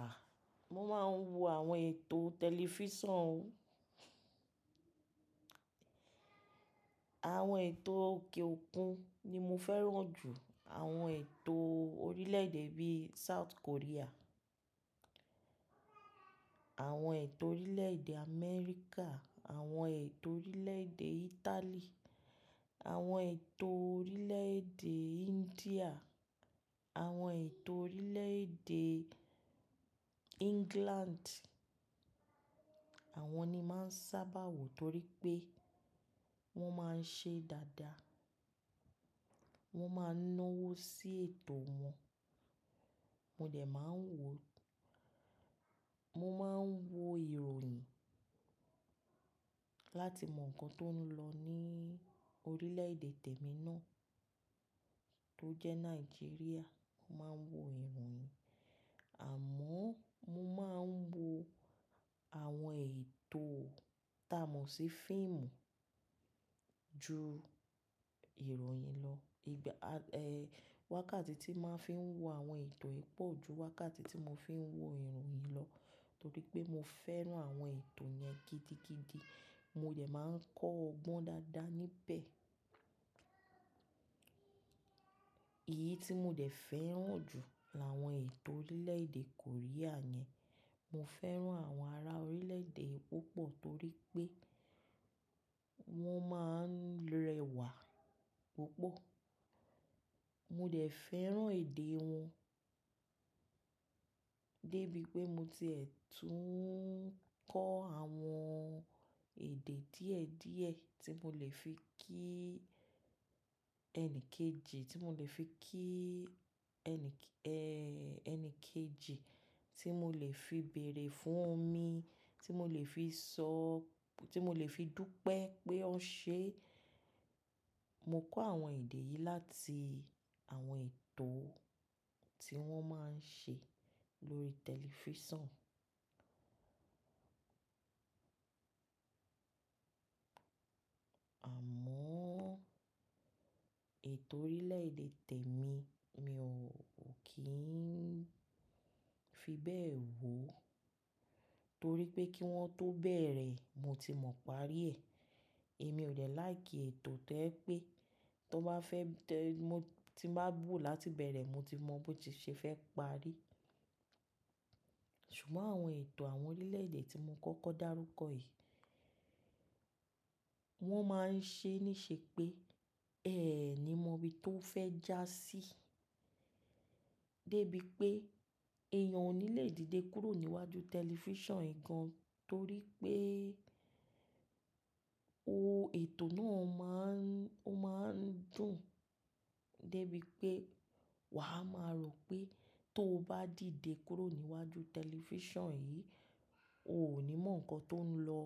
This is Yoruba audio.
À, mo máa ń wo àwọn ètò tẹlifísàn o. Àwọn ètò òkè òkun ni mo fẹ́ràn jù. Àwọn ètò orílẹ̀-èdè bí i South Korea, àwọn ètò orílẹ̀-èdè Amẹ́ríkà, àwọn ètò orílẹ̀-èdè Italy, àwọn ètò orílẹ̀-èdè India, àwọn ètò orílẹ̀-èdè England. Àwọn ni máa ń sábà wo torí pé wọ́n máa ń ṣe dáadáa. Wọ́n máa ń náwó sí ètò wọn. Mo dẹ̀ máa ń wo, mo máa ń wo ìròyìn láti mọ nǹkan tó ń lọ ní orílẹ̀-èdè tèmi náà tó jẹ́ Nàìjíríà. Mo máa ń wo ìròyìn, àmọ́ mo máa ń wo àwọn ètò tá a mọ̀ sí fíìmù ju ìròyìn lọ. Ìgbà, à, eh, wákàtí tí màá fi ń wo àwọn ètò yí pọ̀ ju wákàtí tí mo fi ń wo ìròyìn lọ torí pé mo fẹ́ràn àwọn ètò yẹn gidigidi. Mo dẹ̀ máa ń kọ́ ọgbọ́n dáadáa níbẹ̀. Èyí tí mo dẹ̀ fẹ́ràn jù làwọn ètò orílẹ̀-èdè Korea yẹn. Mo fẹ́ràn àwọn ará orílẹ̀-èdè púpọ̀ torí pé wọ́n máa ń rẹwà púpọ̀. Mo dẹ̀ fẹ́ràn èdè wọn dé bíi pé mo ti è tún ń kọ́ àwọn èdè díẹ̀ díẹ̀ tí mo lè fi kí ẹni kejì, tí mo lè fi kí ẹni k- ẹẹ́, ẹni kejì, tí mo lè fi bèrè fún omi, tí mo lè fi sọ, tí mo lè fi dúpẹ́ pé ọ́ ṣe. Mo kọ́ àwọn èdè yìí láti àwọn ètò tí wọ́n máa ń ṣe lórí tẹlifísàn. Àmọ́ ètò orílẹ̀-èdè tèmi mi ò kí ń fi bẹ́ẹ̀ wò torí pé kí wọ́n tó bẹ̀rẹ̀ mo ti mọ̀ parí ẹ̀. Èmi ò lè láìkì ètò tẹ́ pé tó bá fẹ́ tẹ́, mo ti má bù láti bẹ̀rẹ̀ mo ti mọ̀ bó ti ṣe fẹ́ parí. Ṣùgbọ́n àwọn ètò àwọn orílẹ̀-èdè tí mo kọ́kọ́ dárúkọ yìí wọ́n máa ń ṣe ní ṣe pé ẹẹ̀ ni mo rí tó fẹ́ já sí dé bíi pé èèyàn ò ní lè dìde kúrò níwájú tẹlifísàn gan torí pé o- ètò náà má ń, ó má ń dùn dé bíi pé wà á máa rò pé tó bá dìde kúrò níwájú tẹlifísàn yìí o ò ní mọ̀ nǹkan tó ń lọ,